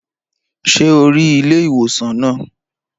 Ṣé o rí ilé ìwòsàn naa?